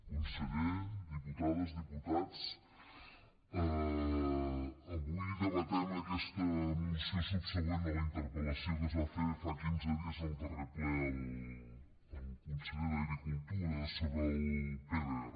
conseller diputades diputats avui debatem aquesta moció subsegüent a la interpellació que es va fer fa quinze dies en el darrer ple al conseller d’agricultura sobre el pdr